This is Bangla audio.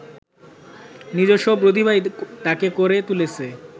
নিজস্ব প্রতিভাই তাঁকে করে তুলেছে